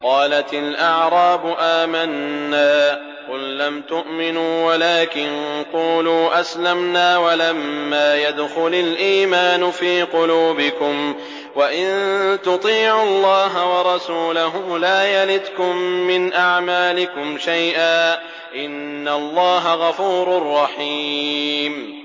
۞ قَالَتِ الْأَعْرَابُ آمَنَّا ۖ قُل لَّمْ تُؤْمِنُوا وَلَٰكِن قُولُوا أَسْلَمْنَا وَلَمَّا يَدْخُلِ الْإِيمَانُ فِي قُلُوبِكُمْ ۖ وَإِن تُطِيعُوا اللَّهَ وَرَسُولَهُ لَا يَلِتْكُم مِّنْ أَعْمَالِكُمْ شَيْئًا ۚ إِنَّ اللَّهَ غَفُورٌ رَّحِيمٌ